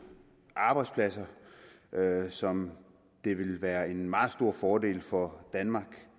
arbejdspladser som det vil være en meget stor fordel for danmark